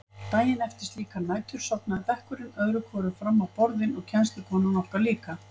Daginn eftir slíkar nætur sofnaði bekkurinn öðru hvoru fram á borðin og kennslukonan okkar líka.